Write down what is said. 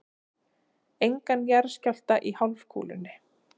Engan jarðskjálfta í hálfkúlunni.